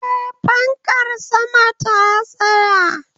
Eh, fankar saman ta tsaya